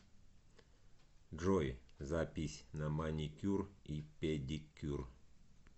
джой запись на маникюр и педикюр